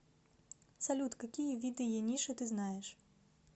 салют какие виды ениши ты знаешь